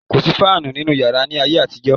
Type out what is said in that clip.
Kò sí fáànù nínú yàrá ni ayé àtijọ́.